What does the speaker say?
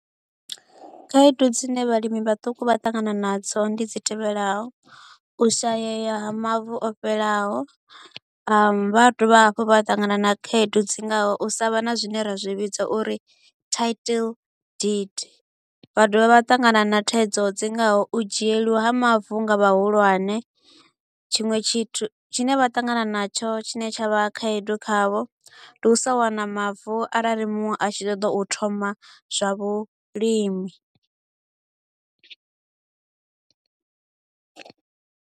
Khaedu dzine vhalimi vhaṱuku vha ṱangana nadzo ndi dzi tevhelaho. Ushayeya ha mavu o fhelaho vha dovha hafhu vha ṱangana na khaedu dzi ngaho u sa vha na zwine ra zwi vhidza uri title deed. Vha dovha vha ṱangana na thaidzo dzi ngaho u dzhieliwa ha mavu nga vhahulwane, tshiṅwe tshithu tshi ne vha ṱangana natsho tshi ne tsha vha khaedu khavho, ndi u sa wana mavu arali muṅwe a tshi ṱoḓa u thoma zwa vhulimi.